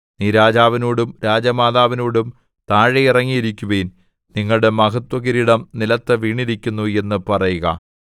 നീ രാജാവിനോടും രാജമാതാവിനോടും താഴെ ഇറങ്ങി ഇരിക്കുവിൻ നിങ്ങളുടെ മഹത്വകിരീടം നിലത്തു വീണിരിക്കുന്നു എന്നു പറയുക